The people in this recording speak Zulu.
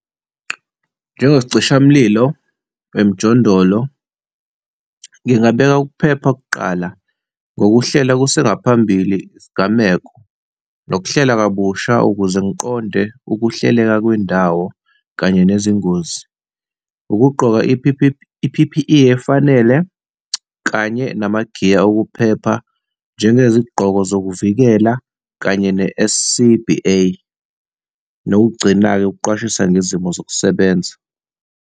Njengesicishamlilo emjondolo, ngingabeka ukuphepha kuqala, ngokuhlela kusengaphambili isigameko nokuhlela kabusha ukuze ngiqonde ukuhleleka kwendawo kanye nezingozi. Ukugqoka i-P_P_E efanele kanye nama magiya okuphepha, njengezigqoko zokuvikela kanye ne-S_C_B_A. Nokugcina-ke, ukuqwashisa ngezimo zokusebenza.